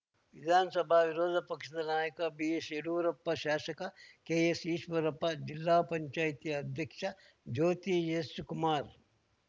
ವಿಧಾನಸಭಾ ವಿರೋಧ ಪಕ್ಷದ ನಾಯಕ ಬಿಎಸ್‌ ಯಡಿಯೂರಪ್ಪ ಶಾಸಕ ಕೆಎಸ್‌ ಈಶ್ವರಪ್ಪ ಜಿಲ್ಲಾ ಪಂಚಾಯತಿ ಅಧ್ಯಕ್ಷ ಜ್ಯೋತಿ ಎಸ್‌ ಕುಮಾರ್‌